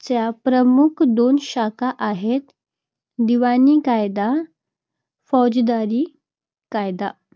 च्या प्रमुख दोन शाखा आहेत. दिवाणी कायदा, फौजदारी कायदा.